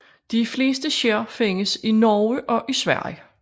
De fleste skær findes i Norge og Sverige